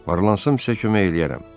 Var-lansam sizə kömək eləyərəm.